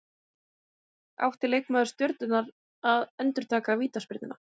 Átti leikmaður Stjörnunnar að endurtaka vítaspyrnuna?